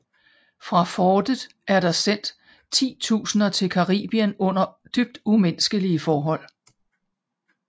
Fra fortet er der sendt titusinder til Caribien under dybt umenneskelige forhold